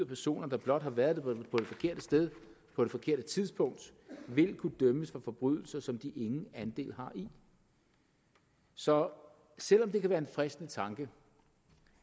personer der blot har været på det forkerte sted på det forkerte tidspunkt vil kunne dømmes for forbrydelser som de ingen andel har i så selv om det kan være en fristende tanke